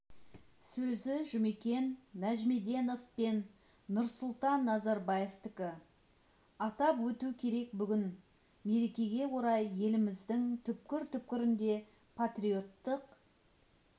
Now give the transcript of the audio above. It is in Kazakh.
сөзі жұмекен нәжімеденов пен нұрсұлтан назарбаевтікі атап өту керек бүгін мерекеге орай еліміздің түкпір-түкпірінде патриоттық